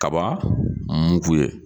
Kaba mugu ye